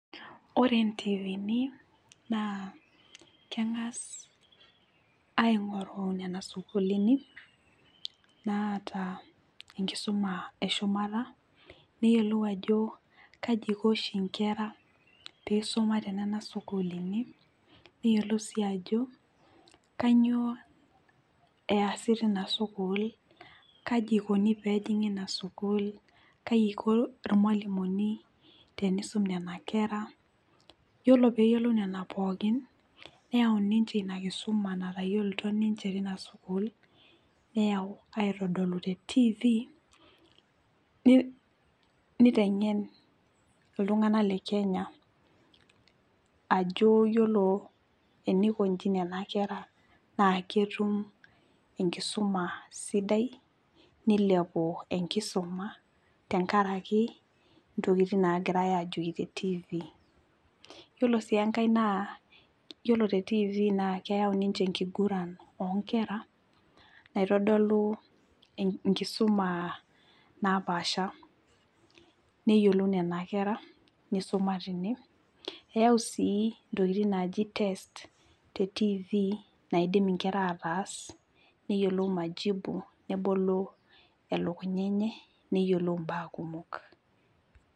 Ore ntiivini naa kengas aingoru nena sukuulini naata enkisuma eshumata neyiolou ajo kaji iko inkera pisuma tenena sukuulini ,neyiolou sii ajo kainyioo easi tinasukuul , kaji ikoni pejingi inasukuul , kai iko irmwalimuni tenisum nena kera , yiolo peyiolou nena pookin neyaun ninche inakisuma natayiolito ninche tina sukuul , neyau aitodolu tetv , nitengen iltunganak lekenya ajo yiolo enikonji nena kera naa ketum enkisuma sidai nilepu enkisuma tenkaraki ntokitin nagirae ajoki tetv . Yiolo sii enkae naa yiolo tetv naa keyau ninche enkiguran oonkera naitodolu enkisuma napaasha , neyiolou nena kera nisuma tine , eyau sii ntokitin naji test tetv naidim inkera ataas neyiolo majibu nebolo elukunya enye neyiolou im`baa kumok.